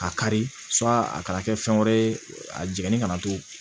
A kari a kana kɛ fɛn wɛrɛ ye a jiginni kana to